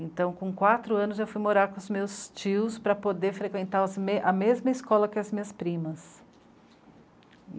Então com quatro anos eu fui morar com os meus tios para poder frequentar os me a mesma escola que as minhas primas.